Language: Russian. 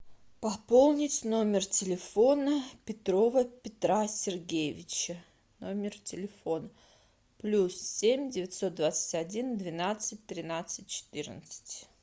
пополнить номер телефона петрова петра сергеевича номер телефона плюс семь девятьсот двадцать один двенадцать тринадцать четырнадцать